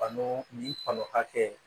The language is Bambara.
Kanu ni kanu hakɛ